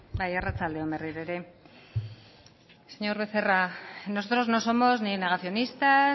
bai arratsalde on berriro ere señor becerra nosotros no somos ni negacionistas